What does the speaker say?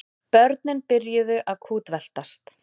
Börnin byrjuðu að kútveltast.